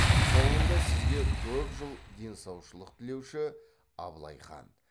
соңында сізге көп жыл денсаушылық тілеуші абылай хан